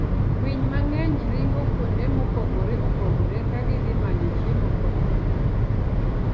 Winy mang'eny ringo kuonde mopogore opogore ka gidhi manyo chiemo kod pi.